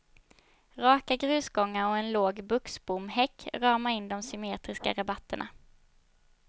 Raka grusgångar och en låg buxbomhäck ramar in de symmetriska rabatterna.